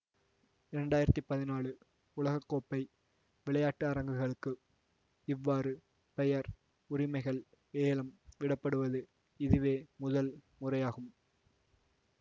இரண்டாயிரத்தி பதினாலு உலக கோப்பை விளையாட்டரங்கங்களுக்கு இவ்வாறு பெயர் உரிமைகள் ஏலம் விடப்படுவது இதுவே முதல் முறையாகும்